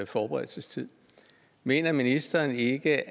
forberedelsestid mener ministeren ikke